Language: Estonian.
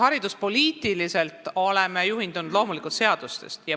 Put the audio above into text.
Hariduspoliitiliselt oleme loomulikult juhindunud seadustest.